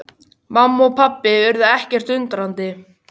Mamma og pabbi urðu ekkert undrandi.